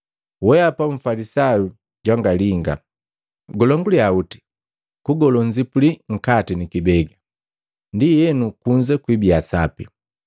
Weapa mfalisayu jwangalinga! Gulonguliya oti kugolo nnzipuli nkati nikibega, ndienu kunza kwiibiya sapi.